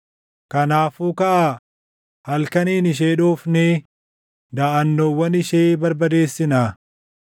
Kanaafuu kaʼaa, halkaniin ishee dhoofnee daʼannoowwan ishee barbadeessinaa!”